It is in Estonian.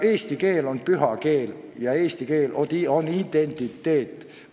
Eesti keel on püha keel ja eesti keel tähendab identiteeti.